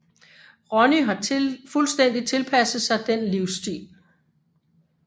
Ronny har fuldstændig tilpasset sig den livsstil